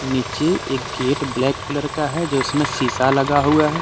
नीचे एक gate black colour का है। जिसमें शीशा लगा हुआ है।